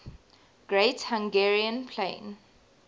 great hungarian plain